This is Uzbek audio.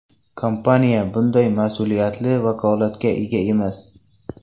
Kompaniya bunday mas’uliyatli vakolatga ega emas.